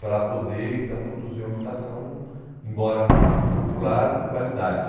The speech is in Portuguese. para poder, então, produzir uma habitação, embora popular, de qualidade.